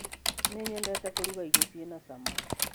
Nĩnyendete kũrũga irĩo ciĩna cama